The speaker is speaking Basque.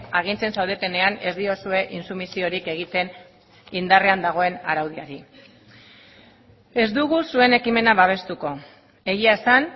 agintzen zaudetenean ez diozue intsumisiorik egiten indarrean dagoen araudiari ez dugu zuen ekimena babestuko egia esan